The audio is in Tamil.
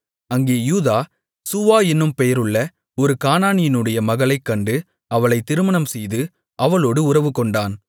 அங்கே யூதா சூவா என்னும் பேருள்ள ஒரு கானானியனுடைய மகளைக் கண்டு அவளைத் திருமணம்செய்து அவளோடு உறவுகொண்டான்